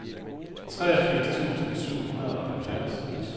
treogfirs tusind syv hundrede og halvfjerds